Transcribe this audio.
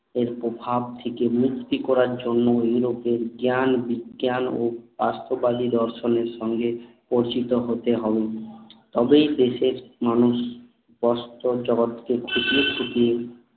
এর প্রভাব থেকে মুক্তি করার জন্য ইউরোপের জ্ঞান বিজ্ঞান ও বস্তুবাদী দর্শন এর সঙ্গে পরিচিত হতে হবে তবেই দেশের মানুষ বাস্তব জগৎকে খুঁটিয়ে খুঁটিয়ে